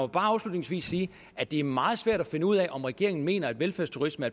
bare afslutningsvis sige at det er meget svært at finde ud af om regeringen mener at velfærdsturisme